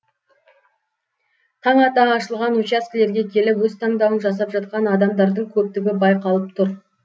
таң ата ашылған учаскелерге келіп өз таңдауын жасап жатқан адамдардың көптігі байқалып тұр